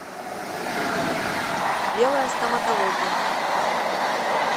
белая стоматология